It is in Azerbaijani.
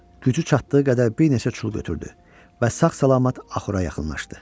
Gücü çatdığı qədər bir neçə çul götürdü və sağ-salamat axura yaxınlaşdı.